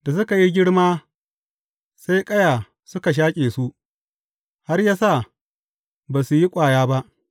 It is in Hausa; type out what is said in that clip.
Da suka yi girma sai ƙaya suka shaƙe su, har ya sa ba su yi ƙwaya ba.